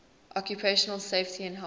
occupational safety and health